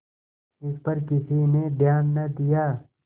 इस पर किसी ने ध्यान न दिया